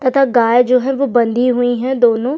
तथा गाय जो है बँधी हुई है दोनों --